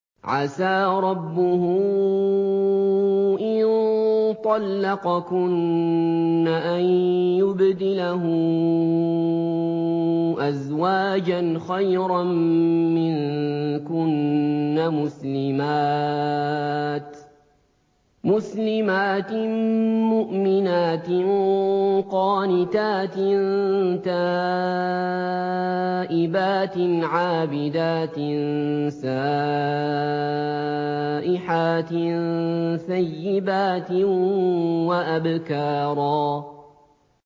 عَسَىٰ رَبُّهُ إِن طَلَّقَكُنَّ أَن يُبْدِلَهُ أَزْوَاجًا خَيْرًا مِّنكُنَّ مُسْلِمَاتٍ مُّؤْمِنَاتٍ قَانِتَاتٍ تَائِبَاتٍ عَابِدَاتٍ سَائِحَاتٍ ثَيِّبَاتٍ وَأَبْكَارًا